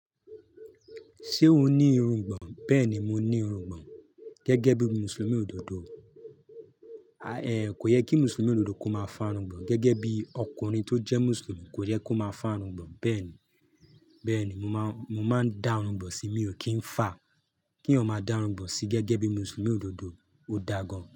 Ṣé o ní irùgbọ̀n bẹ́ẹ̀ni mo ní irùgbọ̀n gẹ́gẹ́ bíi mùsùlùmí òdodo kò yẹ kí Mùsùlùmí òdodo kó máa fá irungbọ̀n, gẹ́gẹ́ bí ọkùnrin tó jẹ́ Mùsùlùmí kò yẹ kó máa fá irungbọ̀n. Bẹ́ẹ̀ni, bẹ́ẹ̀ni, mo máa ń dá irungbọ̀n sí mi, o kì í fà kí èèyàn máa dá irungbọ̀n sí gẹ́gẹ́ bí Mùsùlùmí òdodo, ó dáa gan.